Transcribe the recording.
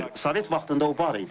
Sovet vaxtında o var idi.